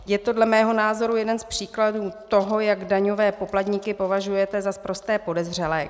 Je to dle mého názoru jeden z příkladů toho, jak daňové poplatníky považujete za sprosté podezřelé.